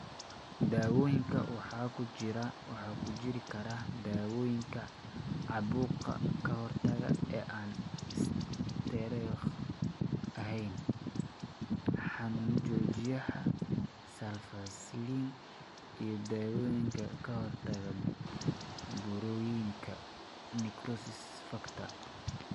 Daawooyinka waxa ku jiri kara dawooyinka caabuqa ka hortaga ee aan isteeroodhka ahayn (NSAIDs); xanuun joojiyaha; sulfasalazine; iyo dawooyinka ka hortagga burooyinka necrosis factor.